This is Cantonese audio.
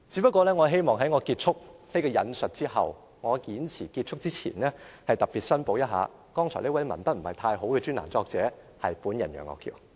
不過，我希望在我結束引述這段文章後，在我的演辭結束前特別申報一下，剛才這位文筆不太好的專欄作者是本人楊岳橋。